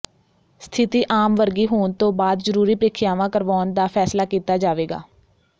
ਸਥਿਤੀ ਆਮ ਵਰਗੀ ਹੋਣ ਤੋਂ ਬਾਅਦ ਜ਼ਰੂਰੀ ਪ੍ਰੀਖਿਆਵਾਂ ਕਰਵਾਉਣ ਦਾ ਫੈਸਲਾ ਕੀਤਾ ਜਾਵੇਗਾ